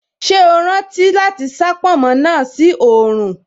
Ṣé o rántí láti sá pònmó náà sí oòrùn